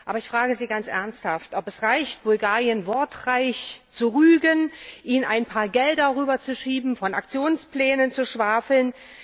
Aber ich frage Sie ganz ernsthaft, ob es reicht, Bulgarien wortreich zu rügen, ihm ein paar Gelder rüber zu schieben, von Aktionsplänen zu schwafeln.